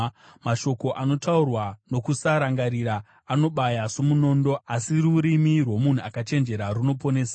Mashoko anotaurwa nokusarangarira anobaya somunondo, asi rurimi rwomunhu akachenjera runoporesa.